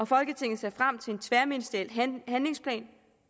folketinget ser frem til en tværministeriel handlingsplan